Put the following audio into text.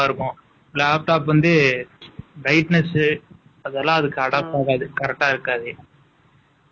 அப்புறம் screen நல்லா இருக்கும். Laptop வந்து, brightness , அதெல்லாம் அதுக்கு adopt போகாது. Correct ஆ இருக்காது